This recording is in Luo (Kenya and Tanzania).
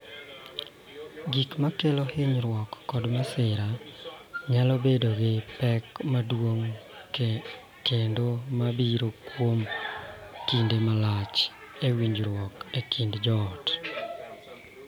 Gik ma kelo hinyruok kod masira nyalo bedo gi pek madongo kendo ma biro kuom kinde malach e winjruok e kind joot,